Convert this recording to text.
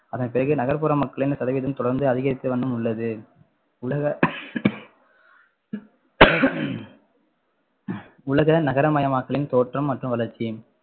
அதன் பிறகு நகர்ப்புற மக்களின் சதவீதம் தொடர்ந்து அதிகரித்த வண்ணம் உள்ளது உலக உலக நகரமயமாக்கலின் தோற்றம் மற்றும் வளர்ச்சி